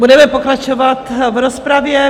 Budeme pokračovat v rozpravě.